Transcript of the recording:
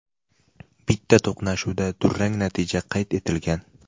Bitta to‘qnashuvda durang natija qayd etilgan.